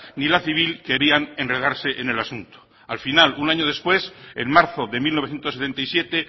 ni la civil querían enredarse en el asunto al final un año después en marzo de mil novecientos setenta y siete